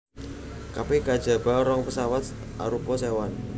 Kabèh kajaba rong pesawat arupa sewan